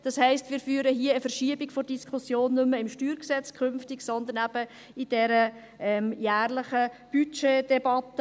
Das heisst, es gibt eine Verschiebung der Diskussion, wir führen diese künftig nicht mehr beim StG, sondern eben in dieser jährlichen Budgetdebatte.